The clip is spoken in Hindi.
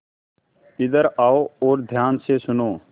इधर आओ और ध्यान से सुनो